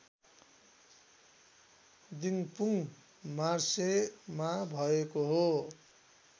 दिप्रुङ मार्सेमा भएको हो